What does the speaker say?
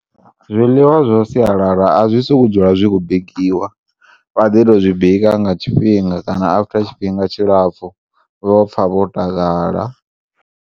Zwiḽiwa zwa sialala azwisikudzula zwikho bikiwa vhaḓito zwibika ngatshifhinga kana after tshifhinga tshilapfu vhopfa vho takala.